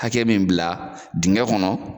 Hakɛ min bila dingɛ kɔnɔ